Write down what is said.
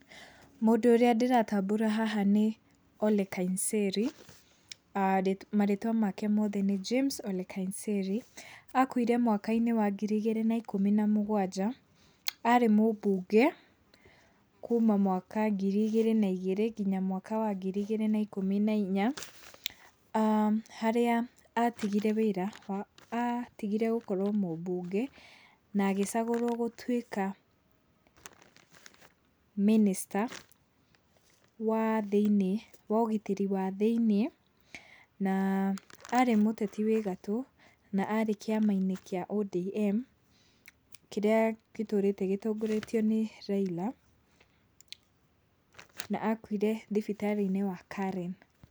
Mũndũ ũrĩa ndĩratambũra haha nĩ Ole Nkaiserry, marĩtwa make mothe nĩ James Ole Nkaiserry. Akuire mwaka-inĩ wa ngiri igĩrĩ na ikũmi na mũgwanja. Arĩ mũmbunge kuma mwaka ngiri igĩrĩ na igĩrĩ kinya mwaka wa ngiri igĩrĩ na ikũmi na inya. Harĩa atigire wĩra, atigire gũkorwo mũmbunge na agĩcagũrwo gũtuĩka mĩnĩsta wa thĩiniĩ wa ũgitĩri wa thĩiniĩ. Na, arĩ mũteti wĩ gatũ ,na arĩ kĩama-inĩ kĩa ODM, kĩrĩa gĩtũrĩte gĩtongioretio nĩ Raila na akuire thibitarĩ-inĩ wa Karen.